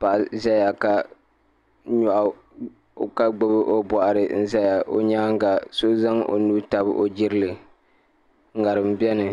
paɣa ʒɛya ka gbubi o boɣari n ʒɛya o nyaanga so zaŋ o Nuu tabi o jirili ŋarim biɛni